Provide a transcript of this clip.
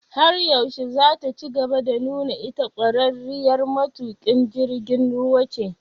Har yaushe zataci gaba da nuna ita ƙwararriyar matuƙin jirgin ruwa ce?